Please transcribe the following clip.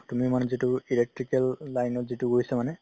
তুমি মানে যিটো electrical line ত যিটো গৈছা মানে